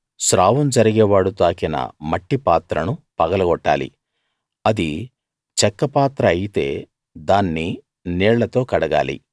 స్రావం జరిగే వాడు తాకిన మట్టిపాత్రను పగలగొట్టాలి అది చెక్క పాత్ర అయితే దాన్ని నీళ్ళతో కడగాలి